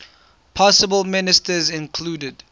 possible ministers included